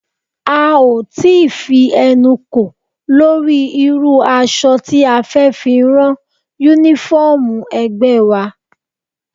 A ò tí ì fi ẹnu kò lórí irú aṣọ tí a fẹ́ fi rán Únífọ́ọ̀mù ẹgbẹ́ wa